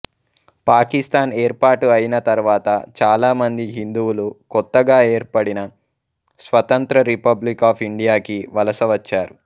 పాకిస్తాన్ ఏర్పాటు అయిన తరువాత చాలామంది హిందువులు కొత్తగా ఏర్పడిన స్వతంత్ర రిపబ్లిక్ ఆఫ్ ఇండియాకి వలస వచ్చారు